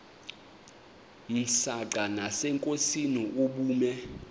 msanqa nasenkosini ubume